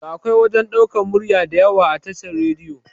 Da akwai wajan ɗaukan murya diyawa a tashar radiyo